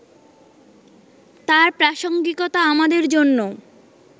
তার প্রাসঙ্গিকতা আমাদের জন্য